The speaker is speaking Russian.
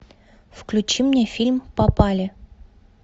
включи мне фильм попали